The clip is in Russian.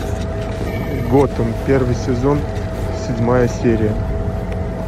готэм первый сезон седьмая серия